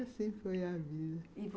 E assim foi a vida. E vo